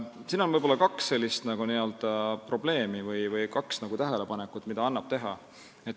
Siin annab võib-olla teha kaks tähelepanekut.